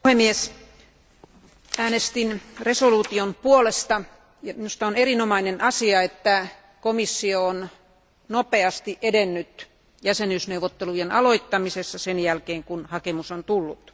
Arvoisa puhemies, äänestin päätöslauselman puolesta. Minusta on erinomainen asia, että komissio on nopeasti edennyt jäsenyysneuvotteluiden aloittamisessa sen jälkeen, kun hakemus on tullut.